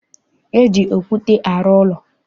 E ji okwute arụ ụlọ.